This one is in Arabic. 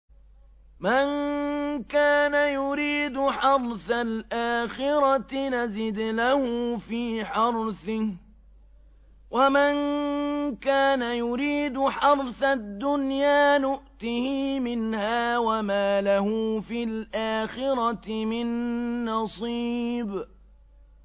مَن كَانَ يُرِيدُ حَرْثَ الْآخِرَةِ نَزِدْ لَهُ فِي حَرْثِهِ ۖ وَمَن كَانَ يُرِيدُ حَرْثَ الدُّنْيَا نُؤْتِهِ مِنْهَا وَمَا لَهُ فِي الْآخِرَةِ مِن نَّصِيبٍ